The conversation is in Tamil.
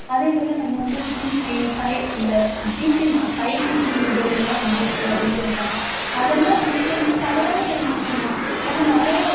அதே போல நம்ம வந்து GP five இந்த GP ம் five GP mobile எல்லாம் வந்திருக்கு அப்படின்னு சொல்றாங்க. அதெல்லாம் நமக்கு வந்து தவறான ஒரு விஷயம்தான். ஏன்னா நிறைய அதுல